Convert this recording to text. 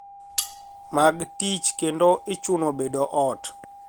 Mag tich kendo ichuno bedo ot